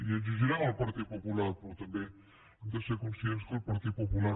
i l’exigirem al partit popular però també hem de ser conscients que el partit popular